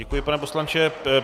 Děkuji, pane poslanče.